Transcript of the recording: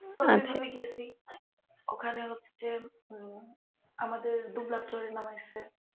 ঐভাবেই গেসি ওখানে হচ্ছে আমাদের নামাইসে